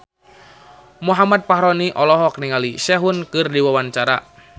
Muhammad Fachroni olohok ningali Sehun keur diwawancara